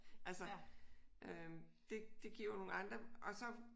Altså øh det giver jo nogle andre og så